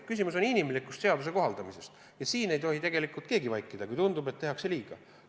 Küsimus oli seaduse inimlikus kohaldamises ja siin ei tohi keegi vaikida, kui tundub, et tehakse liiga.